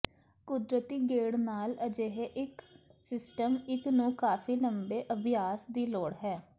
ਕੁਦਰਤੀ ਗੇੜ ਨਾਲ ਅਜਿਹੇ ਇੱਕ ਸਿਸਟਮ ਇੱਕ ਨੂੰ ਕਾਫੀ ਲੰਬੇ ਅਭਿਆਸ ਦੀ ਲੋੜ ਹੈ